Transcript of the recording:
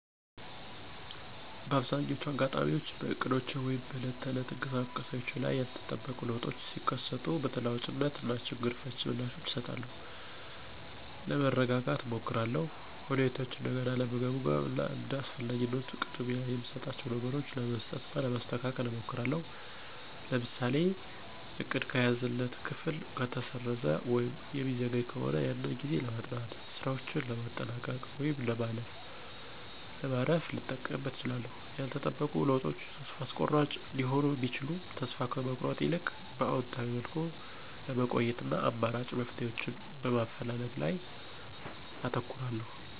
በአብዛኛዎቹ አጋጣሚዎች በእቅዶቼ ወይም በዕለት ተዕለት እንቅስቃሴዎቼ ላይ ያልተጠበቁ ለውጦች ሲከሰቱ በተለዋዋጭነት እና ችግር ፈቺ ምላሾችን እሰጣለሁ። ለመረጋጋት እሞክራለሁ፣ ሁኔታውን እንደገና ለመገምገም እና እንደ አስፈላጊነቱ ቅድሚያ የምሰጣቸውን ነገሮች ለመስጠት እና ለማስተካከል እሞክራለሁ። ለምሳሌ:- እቅድ ከተያዘለት ክፍል ከተሰረዘ ወይም የሚዘገይ ከሆነ ያንን ጊዜ ለማጥናት፣ ሥራዎችን ለማጠናቀቅ ወይም ለማረፍ ልጠቀምበት እችላለሁ። ያልተጠበቁ ለውጦች ተስፋ አስቆራጭ ሊሆኑ ቢችሉም ተስፋ ከመቁረጥ ይልቅ በአዎንታዊ መልኩ ለመቆየት እና አማራጭ መፍትሄዎችን በማፈላለግ ላይ አተኩራለሁ።